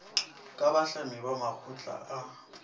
ka bahlami ba makgotla a